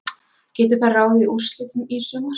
Getur það ráðið úrslitum í sumar?